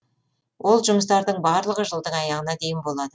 ол жұмыстардың барлығы жылдың аяғына дейін болады